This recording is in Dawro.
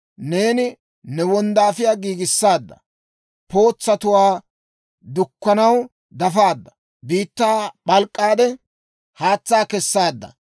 Neeni ne wonddaafiyaa giigissaadda; pootsatuwaa dukkanaw dafaadda. Biittaa p'alk'k'aade haatsaa kessaadda.